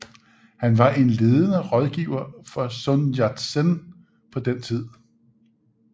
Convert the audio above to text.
Han var en ledende rådgiver for Sun Yat Sen på den tid